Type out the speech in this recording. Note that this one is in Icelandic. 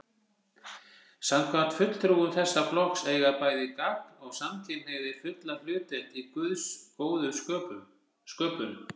Samkvæmt fulltrúum þessa flokks eiga bæði gagn- og samkynhneigðir fulla hlutdeild í Guðs góðu sköpun.